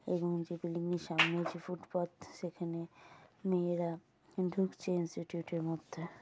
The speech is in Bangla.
এবং যে বিল্ডিং -এর সামনে যে ফুটপাত সেখানে মেয়েরা ঢুকছে ইনস্টিটিউট - এর মধ্যে।